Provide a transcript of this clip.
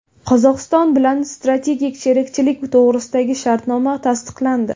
Qozog‘iston bilan strategik sherikchilik to‘g‘risidagi shartnoma tasdiqlandi.